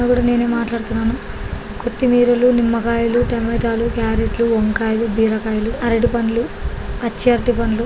గూడా నేనే మాట్లాడుతున్నాను కొత్తిమీరలు నిమ్మకాయలు టమాటా లు కారెట్లు వంకాయలు బీరకాయలు అరటిపండ్లు పచ్చి అరటిపండ్లు --